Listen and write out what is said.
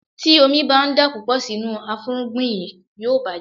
Tí omi ń bá dà púpọ̀ sínú afúrúgbìn yí, yóò bàjẹ́.